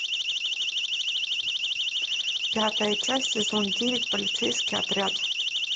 пятая часть сезон девять полицейский отряд